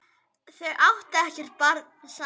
Þau áttu ekkert barn saman.